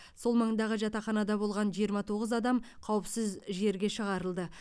сол маңдағы жатаханада болған жиырма тоғыз адам қауіпсіз жерге шығарылды